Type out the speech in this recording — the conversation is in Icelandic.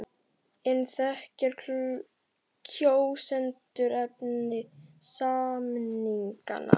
En þekkja allir kjósendur efni samninganna?